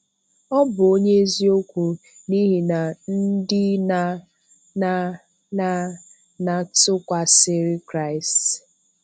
Ọ bụ onye eziokwu n’ihi na ndị na-na na na tụkwàsìrì Kraịst.